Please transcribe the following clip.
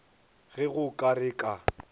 ge go ka re ka